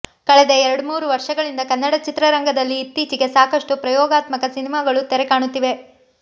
ಕಳೆದ ಎರಡ್ಮೂರು ವರ್ಷಗಳಿಂದ ಕನ್ನಡ ಚಿತ್ರರಂಗದಲ್ಲಿ ಇತ್ತೀಚೆಗೆ ಸಾಕಷ್ಟು ಪ್ರಯೋಗಾತ್ಮಕ ಸಿನಿಮಾಗಳು ತೆರೆ ಕಾಣುತ್ತಿವೆ